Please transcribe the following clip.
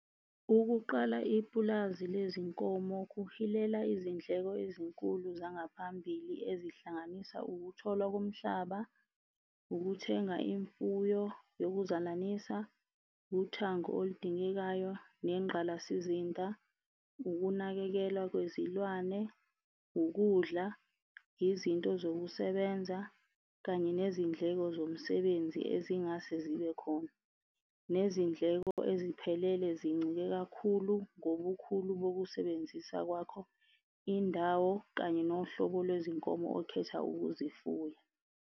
Ukuqala ipulazi lezinkomo kuhilela izindleko ezinkulu zangaphambilini ezihlanganisa, ukutholwa komhlaba, ukuthenga imfuyo yokuzalanisa, uthango oludingekayo nengqalasizinda, ukunakekelwa kwezilwane, ukudla, izinto zokusebenza kanye nezindleko zomsebenzi ezingase zibe khona. Nezindleko eziphelele zincike kakhulu ngobukhulu bokusebenzisa kwakho, indawo kanye nohlobo lwezinkomo okhetha ukuzifuya.